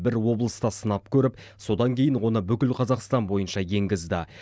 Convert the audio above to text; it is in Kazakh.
бір облыста сынап көріп содан кейін оны бүкіл қазақстан бойынша енгізді